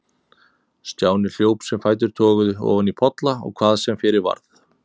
Stjáni hljóp sem fætur toguðu, ofan í polla og hvað sem fyrir varð.